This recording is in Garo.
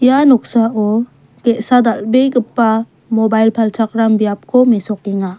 ia noksao ge·sa dal·begipa mobail palchakram biapko mesokenga.